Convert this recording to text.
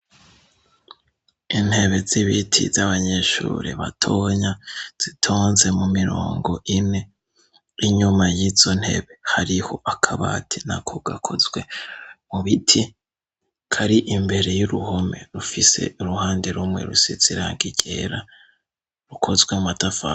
Intebe z'ibiti z'abanyeshuri batonya, zitonze mu mirongo ine, inyuma y'izo ntebe hariho akabati nako gakozwe mu biti, kari imbere y'uruhome, rufise uruhande rumwe rusize irangi ryera, rukozwe mu matafari.